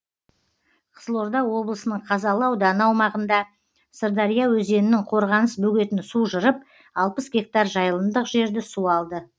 қызылорда облысының қазалы ауданы аумағында сырдария өзенінің қорғаныс бөгетін су жырып алпыс гектар жайылымдық жерді су алды